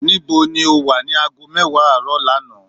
ní bó ni o wa ni aago mewa aaro lánàá?